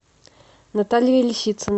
наталья лисицына